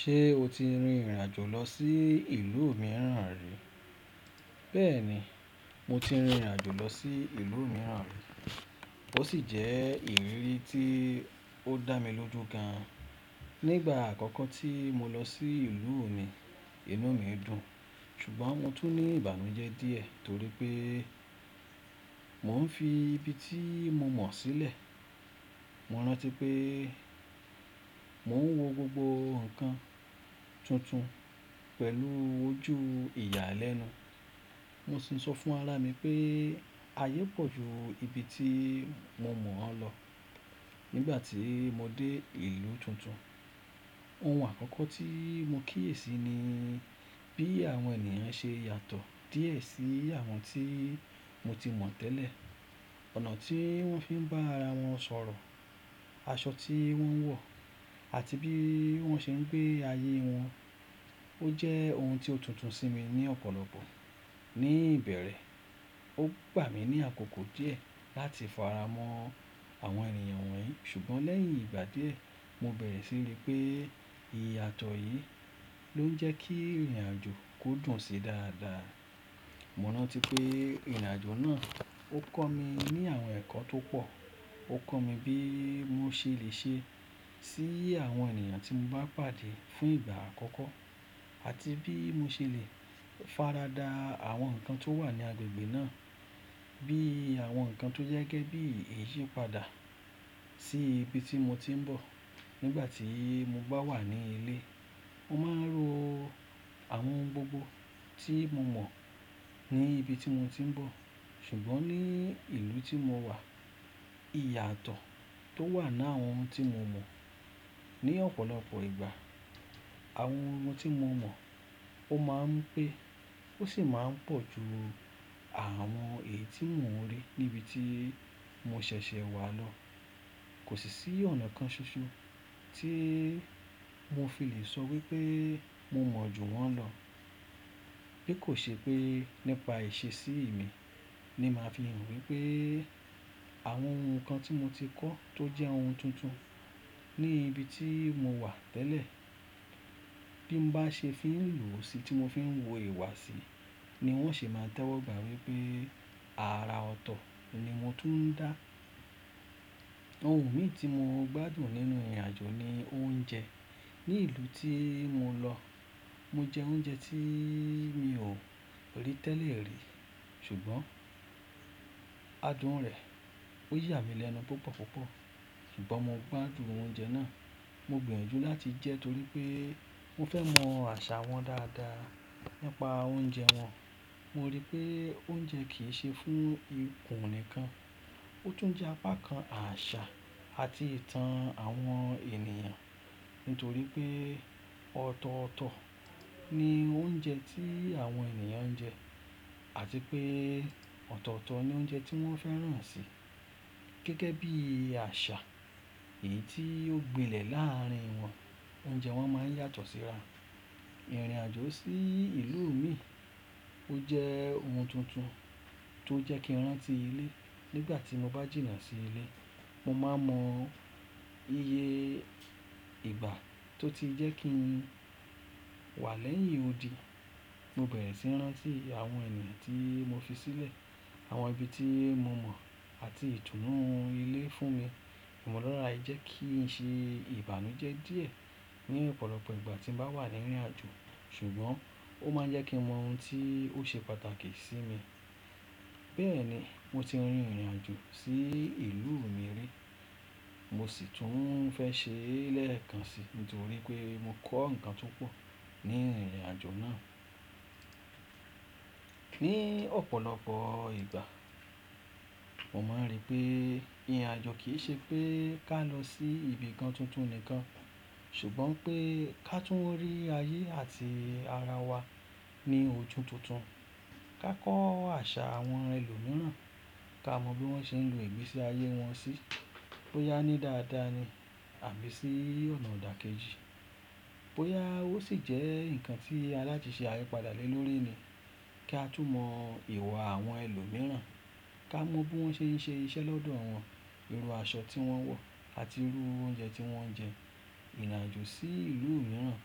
Ṣé o ti rin ìrìn àjò lọ sí ìlú mìíràn rí? Bẹ́ẹ̀ni, mo ti rin ìrìn àjò lọ sí ìlú mìíràn rí, ó sì jẹ́ ìrírí tí ó dá mi lójú gan an. Nígbà àkọ́kọ́ tí mo lọ sí ìlú mi, inú mi dùn, ṣùgbọ́n mo tún ní ìbànújẹ́ díẹ̀ torí pé mò ń fi ibi tí mo mọ̀ sílẹ̀. Mo rántí pé mò ń wo gbogbo nǹkan tuntun pẹ̀lú ojú ìyàlẹ́nu. Mo sì ń sọ fún ara mi pé ayé pọ̀ ju ibi tí mo mọ̀ lọ. Nígbà tí mo dé ìlú tuntun, ohun àkọ́kọ́ tí mo kíyèsi ni bí àwọn ènìyàn ṣe yàtọ̀ díẹ̀ sí àwọn tí mo ti mọ̀ tẹ́lẹ̀. Ọ̀nà tí wọ́n fi ń bá ara wọn sọ̀rọ̀, aṣọ tí wọ́n ń wọ̀ àti bí wọ́n ṣe ń gbé ayé wọn. Ó jẹ́ ohun tí ó tuntun sí mi ní ọ̀pọ̀lọpọ̀ ní ìbẹ̀rẹ̀. Ó gbà mí ní àkókò díẹ̀ láti faramọ́ àwọn ènìyàn wọ̀nyí, ṣùgbọ́n lẹ́yìn ìgbà díẹ̀, mo bẹ̀rẹ̀ sí í rí pé i yàtọ̀ yìí ló ń jẹ́ kí ìrìn àjò kó dùn sé dáadáa. Mo rántí pé ìrìn àjò náà ó kọ́ mi ní àwọn ẹ̀kọ́ tó pọ̀. Ó kọ́ mi bí mo ṣe lè ṣe sí àwọn ènìyàn tí mo bá pàdé fún ìgbà àkọ́kọ́ àti bí mo ṣe lè farada àwọn nǹkan tó wà ní agbègbè náà bí i àwọn nǹkan tó jẹ́ gẹ́gẹ́ bí iyì padà sí ibi tí mo ti ń bọ̀. Nígbà tí mo bá wà ní ilé, mo máa ń ro àwọn ohun gbogbo tí mo mọ̀ ní ibi tí mo ti ń bọ̀. Ṣùgbọ́n ní ìlú tí mo wà, ìyàtọ̀ tó wà ní àwọn ohun tí mo mọ̀ ní ọ̀pọ̀lọpọ̀ ìgbà. Àwọn ohun tí mo mọ̀, ó máa ń pé, ó sì máa ń pọ̀ ju àwọn èyí tí mò ń rí níbi tí mo ṣẹ̀ṣẹ̀ wà lọ. Kò sí sí ọ̀nà kan ṣoṣo tí mo fi lè sọ wípé mo mọ̀ ju wọ́n lọ. Bí kò ṣe pé nípa èsì ìmi ni màá fi hàn wípé àwọn ohun kan tí mo ti kọ́ tó jẹ́ ohun tuntun ní ibi tí mo wà tẹ́lẹ̀. Bí mo bá ṣe fi ń lò ó sí tí mo fi ń wu ìwà sí ni wón ṣe máa tẹ́wọ́gbà wípé ara ọ̀tọ̀ ni mo tún ń dá. Ohun mì tí mo gbádùn nínú ìrìn àjò ni oúnjẹ. Ní ìlú tí mo lọ, mo jẹ oúnjẹ tí mi ò rí tẹ́lẹ̀ rí. Ṣùgbọ́n adùn rẹ̀ ó yà mí lẹ́nu púpọ̀ púpọ̀. Ṣùgbọ́n mo gbádùn oúnjẹ náà. Mo gbìyànjú láti jẹ́ torí pé mo fẹ́ mọ àṣà wọn dáadáa nípa oúnjẹ wọn. Mo rí pé oúnjẹ kì í ṣe fún ikùn nìkan, ó tún jẹ́ apá kan àṣà àti ìtàn àwọn ènìyàn. Nítorí pé ọ̀tọ̀ọ̀tọ̀ ni oúnjẹ tí àwọn ènìyàn ń jẹ àti pé ọ̀tọ̀ọ̀tọ̀ ni oúnjẹ tí wọ́n fẹ́ràn sì. Gẹ́gẹ́ bí àṣà èyí tí ó gbilẹ̀ láàárín wọn, oúnjẹ wọn máa ń yàtọ̀ síra. Ìrìn àjò sí ìlú mìíràn ó jẹ́ ohun tuntun tó jẹ́ kí n rán tí ilé. Nígbà tí mo bá jìnnà sí ilé, mo máa mọ iye ìgbà tó ti jẹ́ kí n wà lẹ́yìn odi. Mo bẹ̀rẹ̀ síi rán tí àwọn ènìyàn tí mo fi sílẹ̀, àwọn ibi tí mo mọ̀ àti ìtùnú ilé fún mi. Ìmọ̀lára yẹ kí i ṣe ìbànújẹ́ díẹ̀ ní ọ̀pọ̀lọpọ̀ ìgbà tí mo bá wà ní ìrìn àjò, ṣùgbọ́n ó máa ń jẹ́ kí mo mọ ohun tí ó ṣe pàtàkì sí mi. Bẹ́ẹ̀ni, mo ti rin ìrìn àjò sí ìlú mìíràn rí, mo sì tún fẹ́ ṣe lẹ́ẹ̀kan sí nítorí pé mo kọ́ nǹkan tó pọ̀ ní ìrìn àjò náà. Ní ọ̀pọ̀lọpọ̀ ìgbà, mo máa ń rí pé ìrìn àjò kì í ṣe pé ká lọ sí ibi kan tuntun nìkan, ṣùgbọ́n pé ká tún rí ayé àti ara wa ní ojú tuntun. Ka kọ́ àṣà àwọn ẹlòmíràn, ká mọ bí wọ́n ṣe ń lo ìgbésí ayé wọn sí. Bóyá ní dáadáa ni àbí sí ọ̀nà dà kejì. Bóyá ó sì jẹ́ nǹkan tí alátìṣẹ́ ayípadà lè lórí ni. Ká tún mọ ìwà àwọn ẹlòmíràn, ká mọ bí wọ́n ṣe ń ṣe iṣẹ́ lọ́dọ̀ àwọn irú aṣọ tí wọ́n ń wọ̀ àti irú oúnjẹ tí wọ́n ń jẹ. Ìrìn àjò sí ìlú mìíràn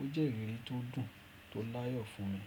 ó jẹ́ ìrírí tó dùn tó láyọ̀ fún mi.